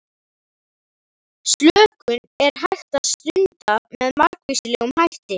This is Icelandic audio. Slökun er hægt að stunda með margvíslegum hætti.